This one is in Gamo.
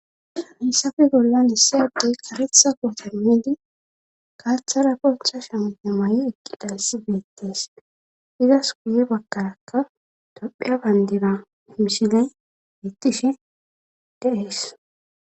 hessafe gollan hissayaddey karetha kotemmidi kaaththara poncha shampe may7i eqqi dalisi beettees izas kuye bakkarakka tophiya bayndina himshile ittishi deees